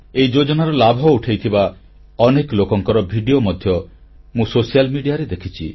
ଏହି ଯୋଜନାର ଲାଭ ଉଠାଇଥିବା ଅନେକ ଲୋକଙ୍କର ଭିଡିଓ ମଧ୍ୟ ମୁଁ ସାମାଜିକ ଗଣମାଧ୍ୟମରେ ଦେଖିଛି